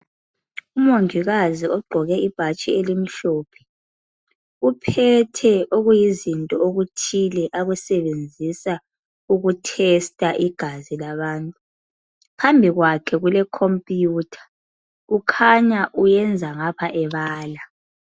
Umongikazi ogqoke ibhatshi elimhlophe uphethe okuyizinto okuthile akusebenzisa ukuthesta igazi labantu. Phambikwakhe kulekhompiyutha kukhanya uyenza ngapha ebala.